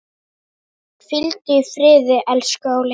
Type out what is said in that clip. Hvíldu í friði, elsku Óli.